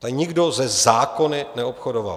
Tady nikdo se zákony neobchodoval.